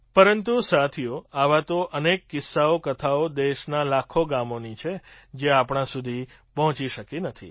પરંતુ સાથીઓ આવા તો અનેક કિસ્સાકથાઓ દેશનાં લાખો ગામની છે જે આપણા સુધી પહોંચી શકી નથી